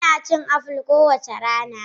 Ina cin apples kowace rana.